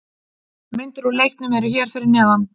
Myndir úr leiknum eru hér fyrir neðan